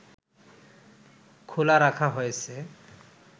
খোলা রাখা হয়েছে